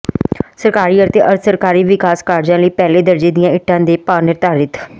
ਸਰਕਾਰੀ ਅਤੇ ਅਰਧ ਸਰਕਾਰੀ ਵਿਕਾਸ ਕਾਰਜਾਂ ਲਈ ਪਹਿਲੇ ਦਰਜੇ ਦੀਆਂ ਇੱਟਾਂ ਦੇ ਭਾਅ ਨਿਰਧਾਰਿਤ